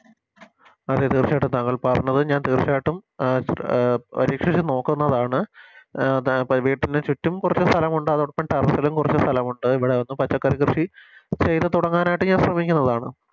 അതെ തീർച്ചയായിട്ടും താങ്കൾ പറഞ്ഞത് ഞാൻ തീർച്ചയായിട്ടും പരീക്ഷിച്ചു നോക്കുന്നതണ് വെട്ടിന് ചുറ്റും സ്ഥലമുണ്ട് അതോടൊപ്പം Terrace ലും കൊറച്ച് സ്ഥലമുണ്ട് ഇവിടെ ഒന്ന് പച്ചക്കറി കൃഷി ചെയ്ത തുടങ്ങാനായിട്ട് ഞാൻ ശ്രമിക്കുന്നതാണ്